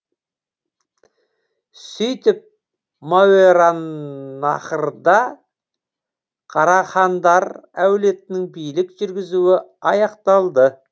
сөйтіп мауераннахрда қарахандар әулетінің билік жүргізуі аяқталды